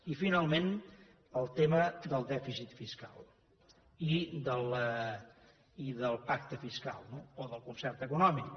i finalment el tema del dèficit fiscal i del pacte fiscal no o del concert econòmic